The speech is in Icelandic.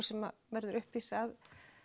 sem verður uppvís að